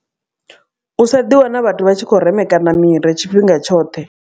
U sa ḓiwana vhathu vhatshi khou remekana miri tshifhinga tshoṱhe.